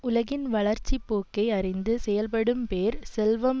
உலகின் வளர்ச்சி போக்கை அறிந்து செயற்படும் பேர் செல்வம்